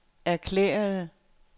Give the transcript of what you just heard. erklærede